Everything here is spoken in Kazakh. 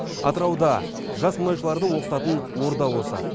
атырауда жас мұнайшыларды оқытатын орда осы